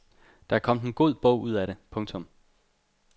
Der er kommet en bog ud af det. punktum